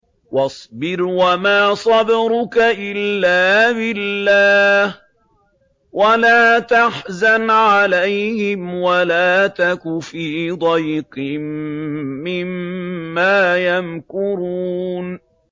وَاصْبِرْ وَمَا صَبْرُكَ إِلَّا بِاللَّهِ ۚ وَلَا تَحْزَنْ عَلَيْهِمْ وَلَا تَكُ فِي ضَيْقٍ مِّمَّا يَمْكُرُونَ